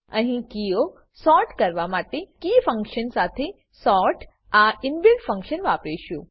અહી કીઓ સોર્ટ કરવા માટે કીફંક્શન સાથે સોર્ટ આ ઇનબિલ્ટ ફંક્શન વાપરીશું